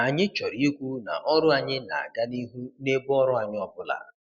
Anyị chọrọ ikwu na ọrụ anyị na -aga n' ihu n'ebe ọrụ anyị ọbụla